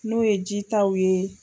N'o ye jitaw ye